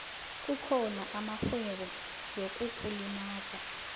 kukhona amarhwebo yokukulimaga